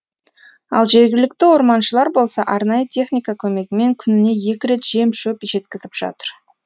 ал жергілікті орманшылар болса арнайы техника көмегімен күніне екі рет жем шөп жеткізіп жатыр